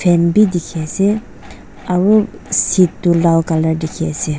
fan beh dekhe ase aro set to lal colour dekhe ase.